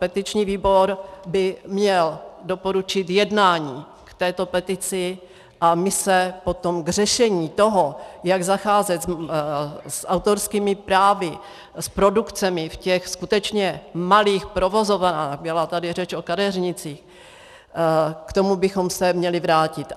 Petiční výbor by měl doporučit jednání k této petici a my se potom k řešení toho, jak zacházet s autorskými právy, s produkcemi v těch skutečně malých provozovnách, byla tady řeč o kadeřnictvích, k tomu bychom se měli vrátit.